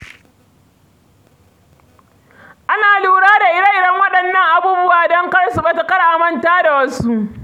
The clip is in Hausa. Ana lura da irin waɗannan abubuwan don kar su ɓata, kar a manta da su.